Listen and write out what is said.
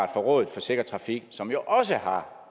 rådet for sikker trafik som jo også har